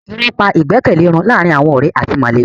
Irọ́ pa ìgbẹ́kẹ̀lé run láàárín àwọn ọ̀rẹ́ àti mọ̀lẹ́bí.